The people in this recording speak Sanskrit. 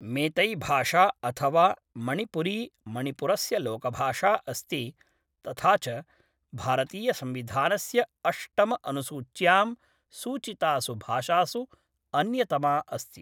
मैतैभाषा अथवा मणिपुरी मणिपुरस्य लोकभाषा अस्ति तथा च भारतीयसंविधानस्य अष्टम अनुसूच्यां सूचितासु भाषासु अन्यतमा अस्ति।